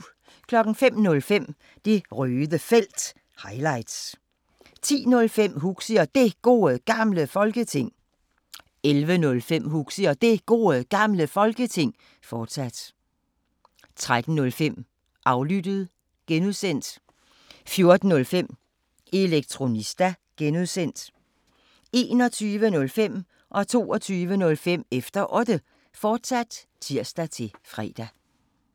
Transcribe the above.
05:05: Det Røde Felt – highlights 10:05: Huxi og Det Gode Gamle Folketing 11:05: Huxi og Det Gode Gamle Folketing, fortsat 13:05: Aflyttet (G) 14:05: Elektronista (G) 21:05: Efter Otte, fortsat (tir-fre) 22:05: Efter Otte, fortsat (tir-fre)